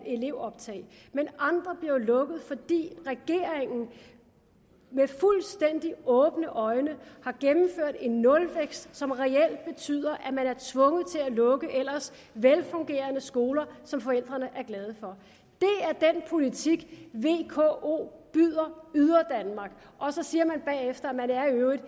elevoptag men andre bliver jo lukket fordi regeringen med fuldstændig åbne øjne har gennemført en nulvækst som reelt betyder at man er tvunget til at lukke ellers velfungerende skoler som forældrene er glade for det er den politik vko byder yderdanmark og så siger man bagefter at man i øvrigt